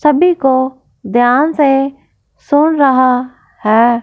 सभी को ध्यान से सुन रहा है।